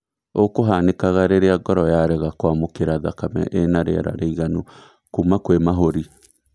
ũ kũhanĩkaga rĩrĩa ngoro yarega kwamũkĩra thakame ĩna rĩera rĩiganu kuma kwĩ mahũri